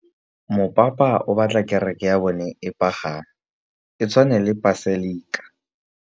Mopapa o batla kereke ya bone e pagame, e tshwane le paselika.